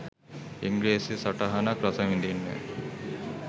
ඉංග්‍රිසි සටහනක් රසවිදින්න.